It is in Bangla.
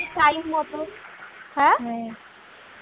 time মত হ্যাঁ